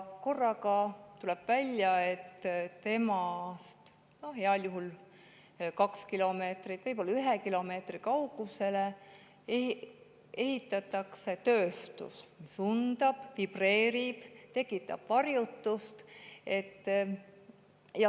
Korraga tuleb välja, et heal juhul kahe kilomeetri, aga võib-olla ühe kilomeetri kaugusele hakatakse ehitama tööstust, mis undab, vibreerib, tekitab varjutust.